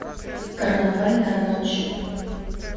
карнавальная ночь